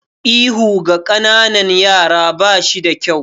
Ihu ga ƙananan yara ba shi da kyau.